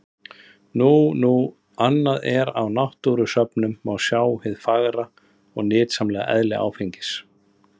Nú nú, annað er að á náttúrusöfnum má sjá hið fagra og nytsama eðli áfengisins.